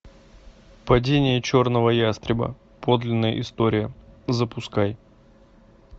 падение черного ястреба подлинная история запускай